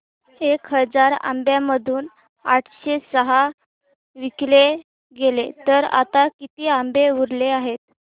एक हजार आंब्यांमधून आठशे सहा विकले गेले तर आता किती आंबे उरले आहेत